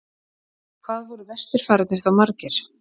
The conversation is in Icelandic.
hvað voru vesturfararnir þá margir